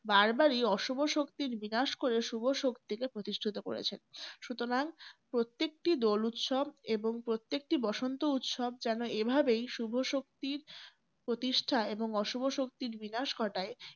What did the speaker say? বারবারই অশুভ শক্তির বিনাশ করে শুভ শক্তিকে প্রতিষ্ঠিত করেছেন। সুতরাং প্রত্যেকটি দোল উৎসব এবং প্রত্যেকটি বসন্ত উৎসব যেন এভাবেই শুভ শক্তির প্রতিষ্ঠা এবং অশুভ শক্তির বিনাশ ঘটায়।